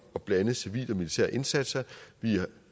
at blande civile og militære indsatser